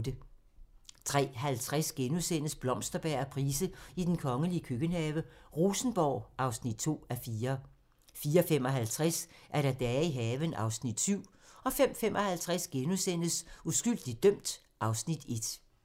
03:50: Blomsterberg og Price i den kongelige køkkenhave: Rosenborg (2:4)* 04:55: Dage i haven (Afs. 7) 05:55: Uskyldigt dømt (Afs. 1)*